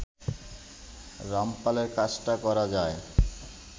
রামপালে কাজটা করা যায়